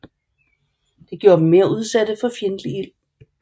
Det gjorde dem mere udsatte for fjendtlig ild